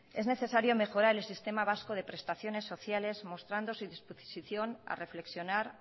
es necesario mejorar el sistema vasco de prestaciones sociales mostrando su disposición a reflexionar